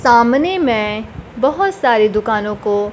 सामने में बहोत सारे दुकानों को--